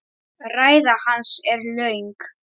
Ræða hans er löng.